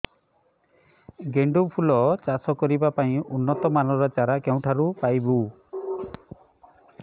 ଗେଣ୍ଡୁ ଫୁଲ ଚାଷ କରିବା ପାଇଁ ଉନ୍ନତ ମାନର ଚାରା କେଉଁଠାରୁ ପାଇବୁ